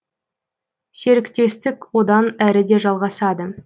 серіктестік одан әрі де жалғасады